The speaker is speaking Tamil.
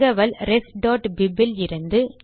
தகவல் refபிப் இலிருந்து